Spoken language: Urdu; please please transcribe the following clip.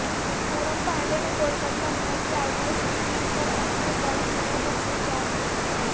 پونم پانڈے نے کولکاتہ نائٹ رائڈرز کی جیت پر اپنی برہنہ تصویر جاری کی تھی